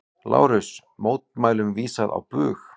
LÁRUS: Mótmælum vísað á bug.